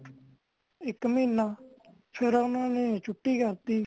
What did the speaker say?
ਇਕ ਮਹੀਨਾ ਫੇਰ ਓਹਨਾ ਨੇ ਛੁੱਟੀ ਕਰਤੀ